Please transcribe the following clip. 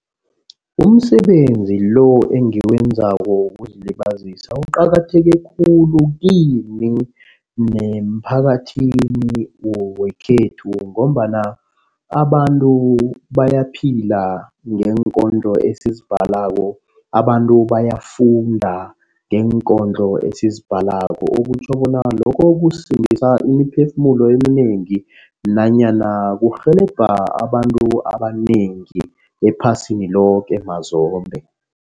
Umsebenzi lo engiwenzako wokuzilibazisa uqakatheke khulu kimi nemphakathini wekhethu ngombana abantu bayaphila ngeenkondlo esizibhalako. Abantu bayafunda ngeenkondlo esizibhalako. Okutjho bona lokho kusindisa imiphefumulo eminengi nanyana kurhelebha abantu abanengi ephasini loke mazombe.